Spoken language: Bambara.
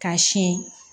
K'a siyɛn